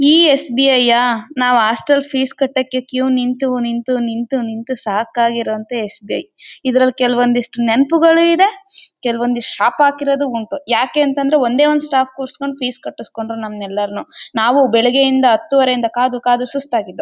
ಈ ಎಸ್_ಬಿ_ಐ ಯಾ ನಾವು ಹಾಸ್ಟೆಲ್ ಫೀಸ್ ಕಟ್ಟಕ್ಕೆ ಕ್ಯೂ ನಿಂತು ನಿಂತು ನಿಂತು ನಿಂತು ಸಾಕಾಗಿರೋ ಅಂತ ಎಸ್_ಬಿ_ಐ ಇದರಲ್ಲಿ ಕೆಲವೊಂದಿಷ್ಟು ನೆನಪುಗಳು ಇವೆ ಕೆಲವೊಂದಿಷ್ಟು ಶಾಪ ಹಾಕಿರೋದು ಉಂಟು ಯಾಕೆಂತ ಅಂದ್ರೆ ಒಂದೇ ಒಂದು ಸ್ಟಾಫ್ ಕೂರಿಸಿ ಕೊಂಡು ಫೀಸ್ ಕಟ್ಟಿಸಿ ಕೊಂಡ್ರು ನಮ್ಮನ್ನೆಲ್ರನ್ನು ನಾವು ಬೆಳಿಗ್ಗೆಯಿಂದ ಹತ್ತುವರೆಯಿಂದ ಕಾದು ಕಾದು ಸುಸ್ತಾಗಿದ್ವು.